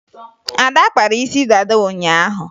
Ada kpara isi dada ụnyaahụ